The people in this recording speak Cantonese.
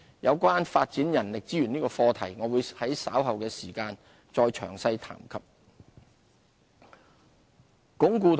有關發展人力資源這個課題，我會在稍後時間再詳細談及。